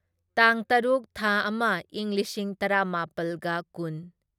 ꯇꯥꯡ ꯇꯔꯨꯛ ꯊꯥ ꯑꯃ ꯢꯪ ꯂꯤꯁꯤꯡ ꯇꯔꯥꯃꯥꯄꯜꯒ ꯀꯨꯟ